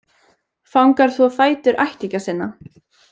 Fangar þvo fætur ættingja sinna